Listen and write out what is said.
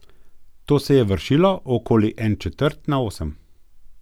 To se je vršilo okoli en četrt na osem.